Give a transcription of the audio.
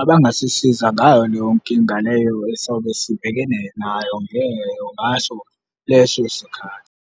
abangasisiza ngayo leyo nkinga leyo esobe sibhekene nayo leyo ngaso leso sikhathi.